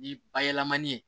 Ni bayɛlɛmani